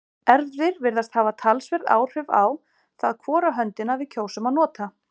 erfðir virðast hafa talsverð áhrif á það hvora höndina við kjósum að nota